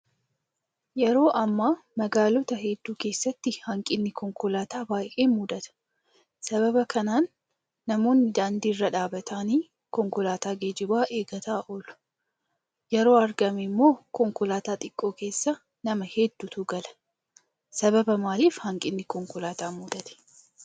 Yeroo ammaa magaalota hedduu keessatti hanqinni konkolaataa baay'ee mudata. Sababa kanaan namoonni daandii irra dhaabbatanii konkolaataa geejjibaa eeggataa oolu. Yeroo argame immoo konkolaataa xiqqoo keessa nama hedduutu gala. Sababa maaliif hanqinni konkolaataa mudatee?